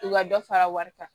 U ka dɔ fara wari kan